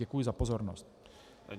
Děkuji za pozornost.